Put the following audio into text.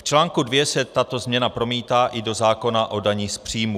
V článku 2 se tato změna promítá i do zákona o daních z příjmů.